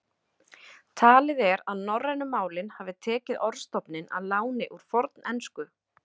Talið er að norrænu málin hafi tekið orðstofninn að láni úr fornensku.